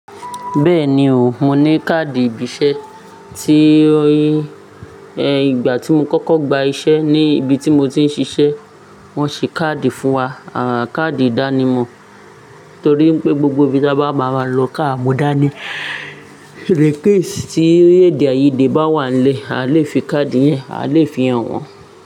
Bẹ́ẹ̀ni o, mo ní káàdì ìbíṣẹ́ tí ó yi, ẹ́ ìgbà tí mo kọ́kọ́ gba iṣẹ́ ní ibi tí mo ti ń ṣiṣẹ́, wọ́n ṣe káàdì fún wa, à káàdì ìdánimọ̀ torí pé gbogbo ibi tí a bá máa lọ káà mú dání, request ti èdèàìyedè bá wà nílẹ̀, a lè fi káàdì yẹn, a lè fi hàn wọ́n.